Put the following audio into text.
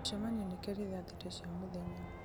mũcemanio nĩ keerĩ thaa thita cia mũthenya